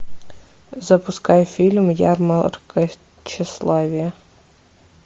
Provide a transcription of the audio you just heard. запускай фильм ярмарка тщеславия